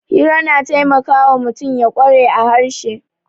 Hira na taimakawa mutum ya kware a harshe